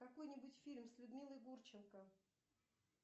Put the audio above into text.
какой нибудь фильм с людмилой гурченко